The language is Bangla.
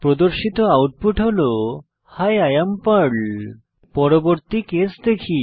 প্রদর্শিত আউটপুট হল হি I এএম পার্ল পরবর্তী কেস দেখি